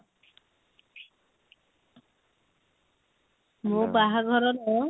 ମୋ ବାହାଘର ର